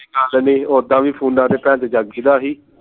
ਚੱਲ ਨੀ ਓਦਾਂ ਵੀ ਫੋਨਾਂ ਜਾਗੀ ਦਾ ਸੀ